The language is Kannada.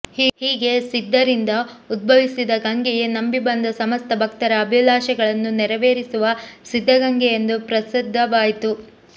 ಹೀಗೆ ಸಿದ್ಧರಿಂದ ಉದ್ಭವಿಸಿದ ಗಂಗೆಯೇ ನಂಬಿ ಬಂದ ಸಮಸ್ತ ಭಕ್ತರ ಅಭಿಲಾಷೆಗಳನ್ನು ನೆರವೇರಿಸುವ ಸಿದ್ಧಗಂಗೆ ಎಂದು ಪ್ರಸಿದ್ಧವಾಯಿತು